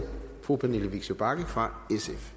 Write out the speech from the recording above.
fru pernille vigsø bagge fra